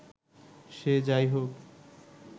সে যা-ই হোক